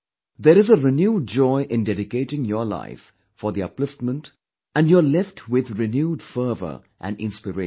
There is a renewed joy in dedicating your life for the upliftment, and you're left with renewed fervour and inspiration